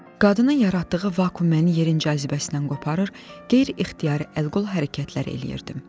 Qadını yaratdığı vakuum məni yerin cazibəsindən qoparır, qeyri-ixtiyari əl-qol hərəkətləri eləyirdim.